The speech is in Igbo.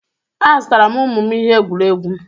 Azụtara m ụmụ m ihe egwuregwu